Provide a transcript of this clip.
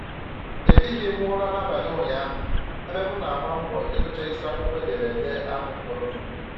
Ehighị m ụra n'abalị ụnyahụ ebe m na-agba mbọ ịgụcha isi akwụkwọ ederede ahụ fọrọnụ